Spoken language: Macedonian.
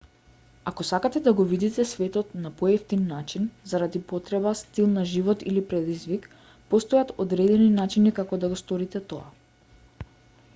ако сакате да го видите светот на поевтин начин заради потреба стил на живот или предизвик постојат одредени начини како да го сторите тоа